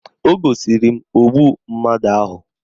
O gosiri m ogbu mmadụ ahụ